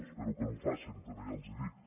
espero que no ho facin també ja els ho dic